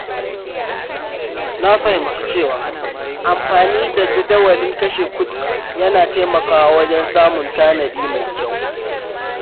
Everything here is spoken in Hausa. Na fahimci cewa amfani da jadawalin kashe kuɗi yana taimakawa wajen samun tanadi mai kyau.